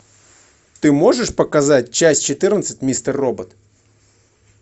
ты можешь показать часть четырнадцать мистер робот